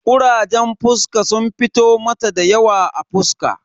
Kurajen fuska sun fito mata dayawa a fuska.